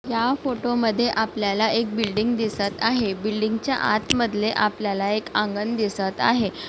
या फोटो मध्ये आपल्याला एक बिल्डिंग दिसत आहे. बिल्डिंगच्या आत मधले आपल्याला एक आंगण दिसत आहे.